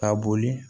Ka boli